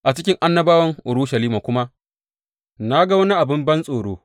A cikin annabawan Urushalima kuma na ga wani abin bantsoro.